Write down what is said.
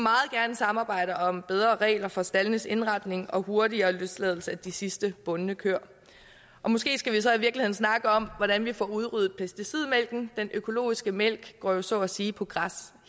samarbejde om bedre regler for staldenes indretning og hurtigere løsladelse af de sidste bundne køer måske skal vi så i virkeligheden snakke om hvordan vi får udryddet pesticidmælken den økologiske mælk går jo så at sige på græs